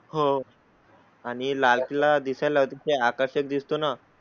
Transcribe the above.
हो. आणि लाल किला दिसाय लाही आकर्षक दिसतो ना?